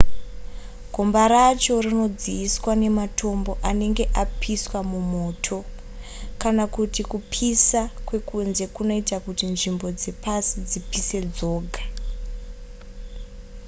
gomba racho rinodziiswa nematombo anenge apiswa mumoto kana kuti kupisa kwekunze kunoita kuti nzvimbo dzepasi dzipise dzoga